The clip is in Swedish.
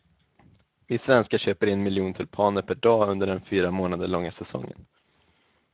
Vi svenskar köper en miljon tulpaner per dag under den fyra månader långa säsongen.